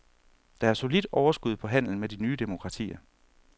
Der er solidt overskud på handelen med de nye demokratier.